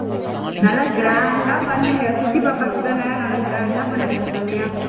நல்ல grand ஆ பண்ணுங்க குட்டி பாப்பாக்கு தானே நல்ல grand ஆ பண்ணுங்க செம்மையா